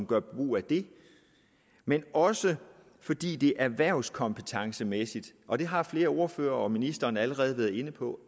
gør brug af den men også fordi det erhvervskompetencemæssigt og det har flere ordførere og ministeren allerede været inde på